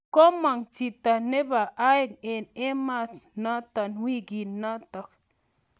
komang chito nebo aeng eng emaanotok wikiinitok